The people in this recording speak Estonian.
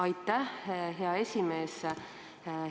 Aitäh, hea esimees!